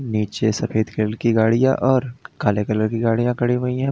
पीछे सफेद कलर की गाड़ियां और काले कलर की गाड़ियां खड़ी हुई है।